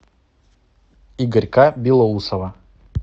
игорька белоусова